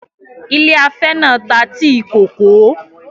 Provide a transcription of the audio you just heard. Ilé afẹ́ náà ta tíì-kòkó